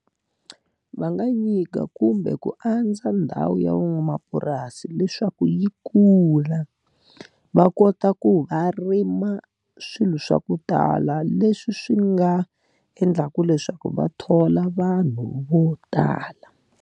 Va nga nyika kumbe ku andza ndhawu ya van'wamapurasi leswaku yi kula. Va kota ku va rima swilo swa ku tala leswi swi nga endlaka leswaku va thola vanhu vo tala.